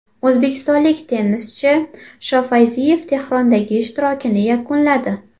O‘zbekistonlik tennischi Shofayziyev Tehrondagi ishtirokini yakunladi.